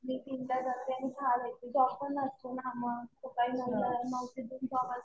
मी तीन ला जाते आणि सहाला येते. जॉब पण असतो ना मग. सकाळी नऊ ला नऊ ते दोन जॉब असतो.